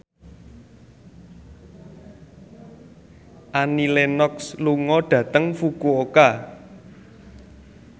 Annie Lenox lunga dhateng Fukuoka